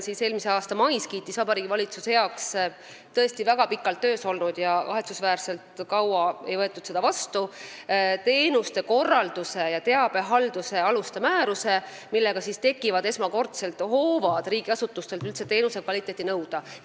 Eelmise aasta mais kiitis Vabariigi Valitsus heaks tõesti väga pikalt töös olnud – kahetsusväärselt kaua ei võetud seda vastu – teenuste korraldamise ja teabehalduse aluste määruse, millega tekivad esmakordselt hoovad riigiasutustelt üldse teenuse kvaliteeti nõuda.